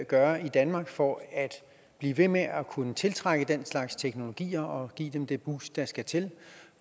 gøre i danmark for at blive ved med at kunne tiltrække den slags teknologier og give dem det boost der skal til